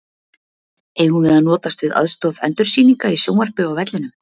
Eigum við að notast við aðstoð endursýninga í sjónvarpi á vellinum?